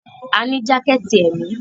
A ní jákẹ̀tì èmi.